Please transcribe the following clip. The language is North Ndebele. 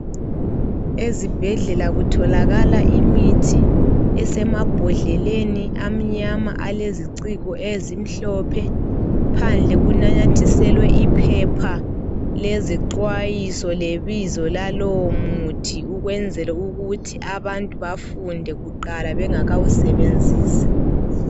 Ezibhedlela kutholakala imithi, esemabhodleleni amnyama aleziciko ezimhlophe, phandle kunyanathiselwe iphepha lezi xwayiso, lebizo lalowo muthi, ukwenzela ukuthi abantu bafunde kuqala bengakawu sebenzisi.